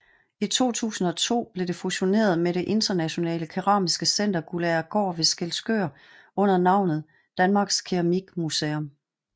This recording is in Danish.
I 2002 blev det fusioneret med det internationale keramiske center Guldagergaard ved Skælskør under navnet Danmarks Keramikmuseum